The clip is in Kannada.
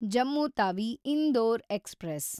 ಜಮ್ಮು ತಾವಿ ಇಂದೋರ್ ಎಕ್ಸ್‌ಪ್ರೆಸ್